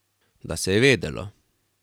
Da se je vedelo.